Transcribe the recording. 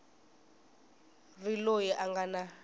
ri loyi a nga na